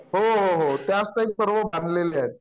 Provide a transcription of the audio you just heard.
होहो हो , त्याच टाइप सर्व बांधलेले आहेत